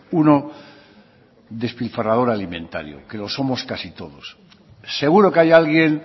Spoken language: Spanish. uno despilfarrador alimentario que lo somos casi todos seguro que hay alguien